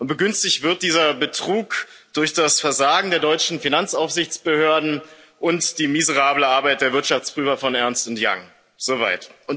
Begünstigt wird dieser Betrug durch das Versagen der deutschen Finanzaufsichtsbehörden und die miserable Arbeit der Wirtschaftsprüfer von Ernst Young soweit.